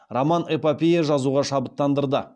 роман эпопея жазуға шабыттандырды